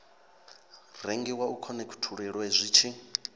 rengiwa u khonekhithululwe zwi tshi